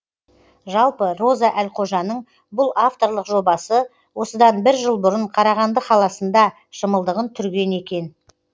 жалпы роза әлқожаның бұл авторлық жобасы осыдан бір жыл бұрын қарағанды қаласында шымылдығын түрген екен